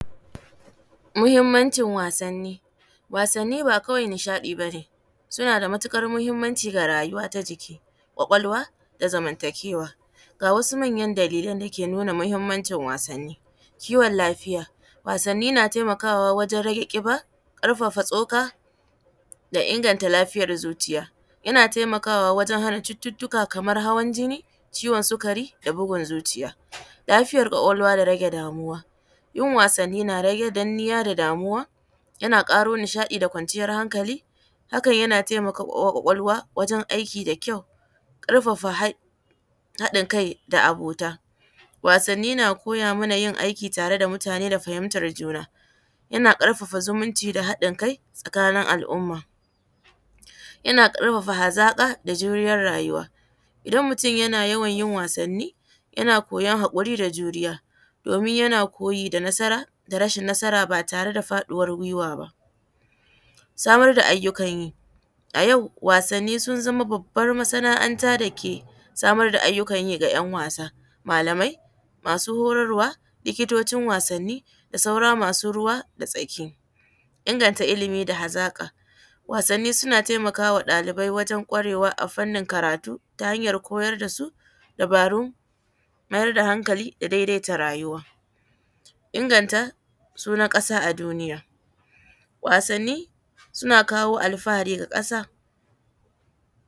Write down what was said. Muhimmancin wasanni, wasanni ba kawai nishaɗi ba ne suna da matukar muhimmanci ga rayuwa ta jiki kwakwalwa da zamantakewa, ga wasu manyan dalilai da ke nuna muhimmancin wasanni, kiwon lafiya wasanni na taimakawa wajen rage kiba, karfafa tsoka da inganta lafiyar zuciya, yana taimakawa wajen hana cututtuka kamar hawan jinni, ciwon sigari da bugun zuciya, lafiyar kwakwalwa da rage damuwa yin wasanni na rage danniya da damuwa, yana karo nishaɗi da kwanciyar hankali hakan yana taimakawa kwakwalwa wajen aiki da kyau karfafa haɗa kai da abota wasanni na koya mana yin aiki tare da mutane da fahimtar zuna yana karfafa zumunci da haɗin kai tsakanin al’umma yana karfafa hazaka da juriyar rayuwa idan mutum yana yawan yin wasanni yana koyar hakuri da juriya domin yana koyi da nasara da rasa nasara ba tare da faɗiwar gwiwa ba. Samar da ayyukan yi a yau wasanni sun zama babbar masana’anta dake samar da ayyukan yi ga ‘yan wasa, malamai masu horarwa, likitocin wasanni da sauran masu ruwa da tsaki, inganta ilimi da hazaka wasanni suna taimakawa ɗalibai wajen gwarewa a fannin karatu ta hanyar koyar da su dabarun mayar da hankali da daidaita rayuwa inganta sun a kasa a duniya, wasanni suna kawo alfahari ga kasa.